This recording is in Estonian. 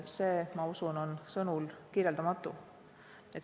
See, ma usun, on sõnulkirjeldamatu.